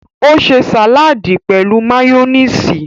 O ṣe sàládì pẹ̀lú máyónísì.